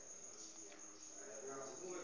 uncwaba